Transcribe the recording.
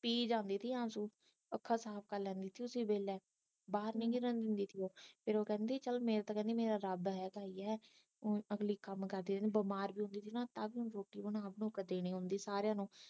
ਪੀ ਜਾਂਦੀ ਸੀ ਆਸ਼ੂ ਅੱਖਾਂ ਸਾਫ ਕਰ ਲੈਂਦੀ ਸੀ ਓਸੀ ਵੇਲੇ ਬਾਹਰ ਨਹੀਂ ਦਿਖਣ ਦਿੰਦੀ ਸੀ ਉਹ ਫਿਰ ਉਹ ਕਹਿੰਦੀ ਚਲ ਮੇਰੇ ਤਾ ਕਹਿੰਦੀ ਮੇਰਾ ਤਾ ਹੁਣ ਅਗਲੀ ਕੰਮ ਕਰਦੀ ਰਹਿੰਦੀ ਬਿਮਾਰ ਵੀ ਸੀ ਗੀ ਨਾ ਤਾ ਵੀ ਰੋਟੀ ਬਣਾ ਬਣੂ ਕੇ ਦੇਣੀ ਹੁੰਦੀ ਸਾਰੀਆਂ ਨੂੰ